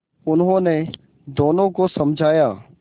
उन्होंने दोनों को समझाया